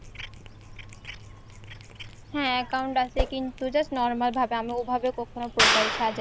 হ্যাঁ account আসে কিন্তু just normal ভাবে আমি অভাবে কখনো profile সাজ